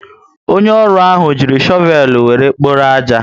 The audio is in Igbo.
Onye ọrụ ahụ ji chovel were kpọrọ aja